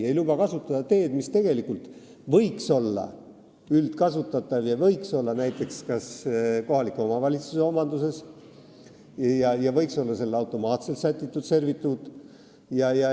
Ta ei luba kasutada teed, mis tegelikult võiks olla üldkasutatav – see võiks olla näiteks kohaliku omavalitsuse omanduses ja võiks olla sellele automaatselt sätitud servituut.